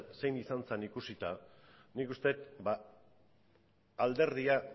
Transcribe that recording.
zein izan zen ikusita nik uste dut alderdia